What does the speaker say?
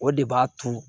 O de b'a to